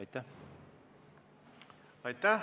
Aitäh!